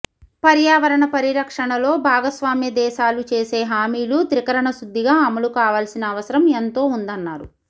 పర్యావరణ పరిరక్షణలో భాగస్వామ్య దేశాలు చేసే హామీలు త్రికరణ శుద్ధిగా అమలు కావాల్సిన అవసరం ఎంతో ఉందన్నారు